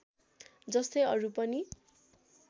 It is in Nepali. जस्तै अरू पनि